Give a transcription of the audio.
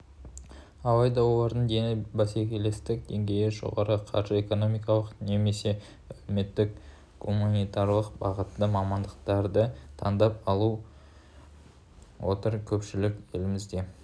алайда олардың дені бәсекелестік деңгейі жоғары қаржы-экономикалық немесе әлеуметтік-гуманитарлық бағыттағы мамандықтарды таңдап алып отыр көпшілік елімізде